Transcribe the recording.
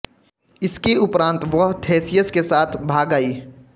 इसके उपरांत वह थेसियस् के साथ भाग आई